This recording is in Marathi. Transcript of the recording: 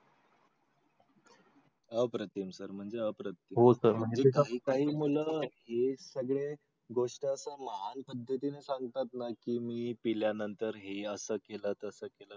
अप्रतिम सर म्हणजे अप्रतिम. काही काही मुलं हे सगळे गोष्ट अस महान पद्धतीने सांगतात ना की मी पिल्यानंतर हे असं केलं तसं केलं